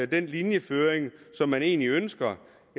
den linjeføring som man egentlig ønsker